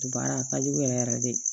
Baara a ka jugu yɛrɛ yɛrɛ de